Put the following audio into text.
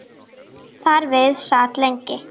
Þar við sat lengi.